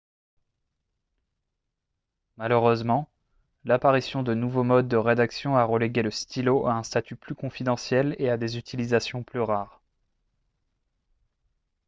malheureusement l'apparition de nouveaux modes de rédaction a relégué le stylo à un statut plus confidentiel et à des utilisations plus rares